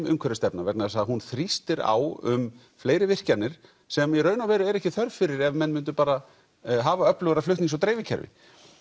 umhverfisstefna vegna þess að hún þrýstir á um fleiri virkjanir sem í raun er ekki þörf fyrir ef menn myndu bara hafa öflugra flutnings og dreifikerfi